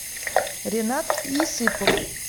ренат исыпов